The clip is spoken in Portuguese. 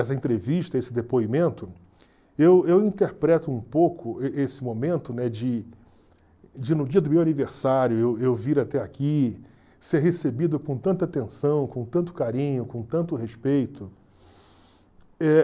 essa entrevista, esse depoimento, eu eu interpreto um pouco e esse momento, né, de, no dia do meu aniversário, eu vir até aqui, ser recebido com tanta atenção, com tanto carinho, com tanto respeito. Eh